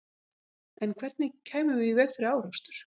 En hvernig kæmum við í veg fyrir árekstur?